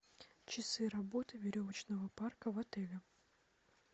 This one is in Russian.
часы работы веревочного парка в отеле